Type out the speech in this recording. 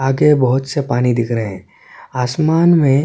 आगे बहुत से पानी दिख रहे है आसमान में--